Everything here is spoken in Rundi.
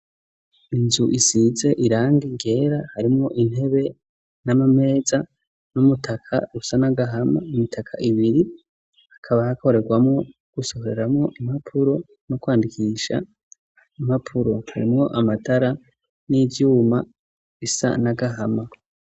Inzu isize irangi ryera harimwo intebe n'amameza n'umutaka usa n'agahama imitaka ibiri ikaba ikorerwamo gusohoreramo impapuro no kwandikiisha impapuro harimoo amatara n'ivyuma isa nagahama.